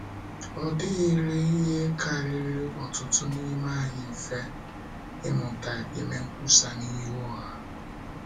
Ọ dịghịrị ihe kariri ọtụtụ n’ime anyị mfe, ịmụta ime nkwusa n’ihu ọha.